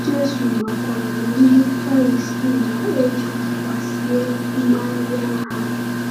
Jésù makwaara na ndị Farisii na-eji akwa sie mmanya ha.